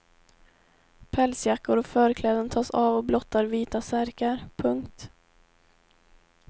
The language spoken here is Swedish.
Pälsjackor och förkläden tas av och blottar vita särkar. punkt